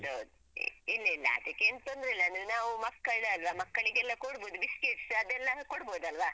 ಹೌದೌದು ಇಲ್ಲ ಇಲ್ಲ ಅದಕ್ಕೇನ್ ತೊಂದ್ರೆ ಇಲ್ಲ ಅಂದ್ರೆ ನಾವು ಮಕ್ಕಳು ಅಲ್ವಾ ಮಕ್ಕಳಿಗೆಲ್ಲ ಕೊಡ್ಬೋದು biscuits ಅದೆಲ್ಲ ಕೊಡ್ಬೋದಲ್ವಾ.